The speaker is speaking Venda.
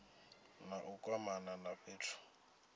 na u kwamana na fhethu